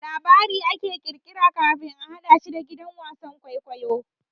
Labari ake kirkira kafin a hadashi a gidan wasan kwaikwayo.